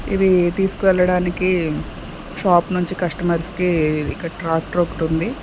ఇది తీసుకువెళ్ళడానికి షాప్ నుంచి కస్టమర్స్ కి ఇక్కడ ట్రాక్టర్ ఒకటి ఉంది.